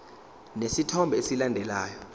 lesi sithombe esilandelayo